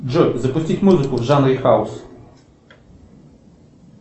джой запустить музыку в жанре хаус